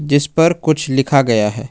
जिस पर कुछ लिखा गया है।